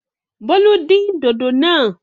Bólú dín dòdò náà!